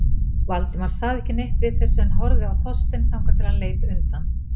Valdimar sagði ekki neitt við þessu en horfði á Þorstein þangað til hann leit undan.